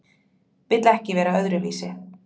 Vill ekki vera öðruvísi.